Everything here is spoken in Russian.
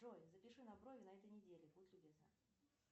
джой запиши на брови на этой неделе будь любезна